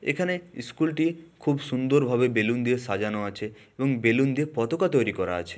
এখানে ইস্কুল -টি খুব সুন্দর ভাবে বেলুন দিয়ে সাজানো আছে এবং বেলুন দিয়ে পতকা তৈরি করা আছে--